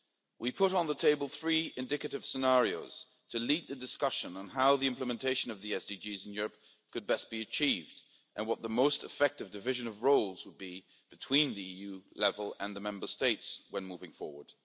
We put on the table three indicative scenarios to lead the discussion on how the implementation of the SDGs in Europe could best be achieved and what the most effective division of roles would be between the EU level and the Member States when moving forward.